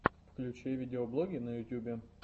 включи видеоблоги на ютьюбе